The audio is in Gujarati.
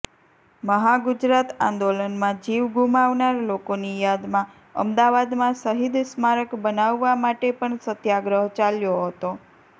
મહાગુજરાત આંદોલનમાં જીવ ગુમાવનાર લોકોની યાદમાં અમદાવાદમાં શહીદ સ્મારક બનાવવા માટે પણ સત્યાગ્રહ ચાલ્યો હતો